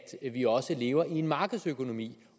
vi også lever i en markedsøkonomi